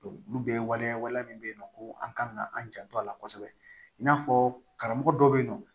olu bɛɛ waleya wale min bɛ yen nɔ ko an kan ka an janto a la kosɛbɛ i n'a fɔ karamɔgɔ dɔ bɛ yen nɔ